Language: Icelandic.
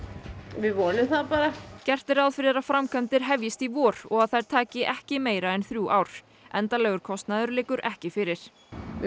vonum það bara gert er ráð fyrir að framkvæmdir hefjist í vor og þær taki ekki meira en þrjú ár endanlegar kostnaður liggur ekki fyrir við